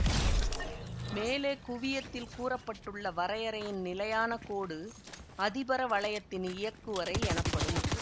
மேலே குவியத்தில் கூற பட்டுள்ள வரையறையின் நிலையான கோடு அதிபரவளையத்தின் இயக்குவரை எனப்படும்